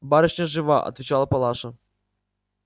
барышня жива отвечала палаша